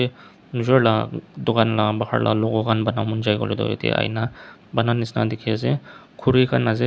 nijor la dukan la bahar la logo khan bana mon jai koilae tu yatae aina bana nishina dikhiase khuri khan ase--